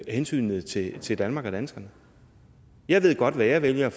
hensynet til til danmark og danskerne jeg ved godt hvad jeg vælger